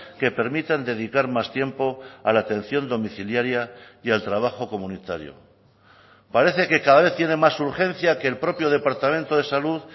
que permitan dedicar más tiempo a la atención domiciliaria y al trabajo comunitario parece que cada vez tiene más urgencia que el propio departamento de salud